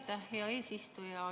Aitäh, hea eesistuja!